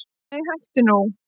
Nei hættu nú!